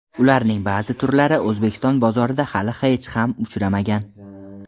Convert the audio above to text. Ularning ba’zi turlari O‘zbekiston bozorida hali hech ham uchramagan.